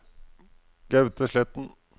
Gaute Sletten